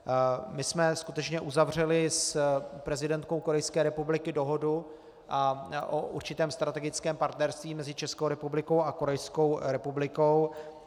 My jsme skutečně uzavřeli s prezidentkou Korejské republiky dohodu o určitém strategickém partnerství mezi Českou republikou a Korejskou republikou.